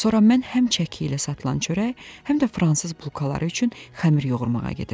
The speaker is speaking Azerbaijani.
Sonra mən həm çəki ilə satılan çörək, həm də fransız bulkaları üçün xəmir yoğurmağa gedirdim.